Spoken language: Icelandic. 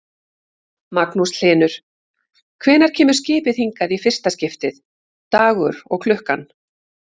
Magnús Hlynur: Hvenær kemur skipið hingað í fyrsta skiptið, dagur og klukkan?